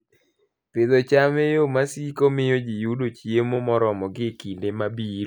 Pidho cham e yo masiko, miyo ji yudo chiemo moromogi e kinde mabiro.